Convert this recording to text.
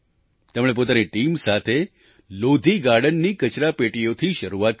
તેમણે પોતાની ટીમ સાથે લોધી ગાર્ડનની કચરાપેટીઓથી શરૂઆત કરી